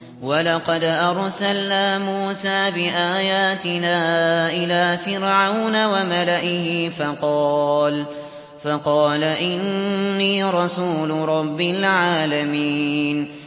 وَلَقَدْ أَرْسَلْنَا مُوسَىٰ بِآيَاتِنَا إِلَىٰ فِرْعَوْنَ وَمَلَئِهِ فَقَالَ إِنِّي رَسُولُ رَبِّ الْعَالَمِينَ